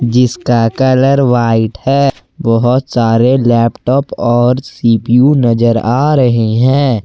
जिसका colour white है बहोत सारे लैपटॉप और सी_पी_यू नजर आ रहे हैं।